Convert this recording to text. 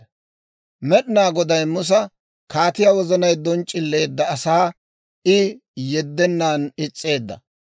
Med'inaa Goday Musa, «Kaatiyaa wozanay donc'c'ileedda; asaa I yeddennan is's'eedda.